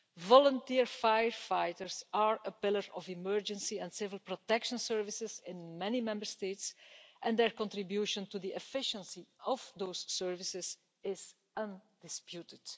Volunteer firefighters are a pillar of emergency and civil protection services in many Member States and their contribution to the efficiency of those services is undisputed.